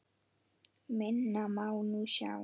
Minna má nú sjá!